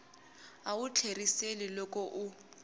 a wu tlheriseli loko u